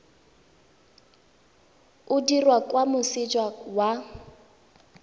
o dirwa kwa moseja wa